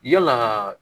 Yalaa